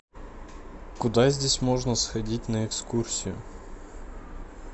куда здесь можно сходить на экскурсию